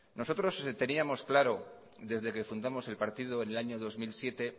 nosotros teníamos claro desde que fundamos el partido en el año dos mil siete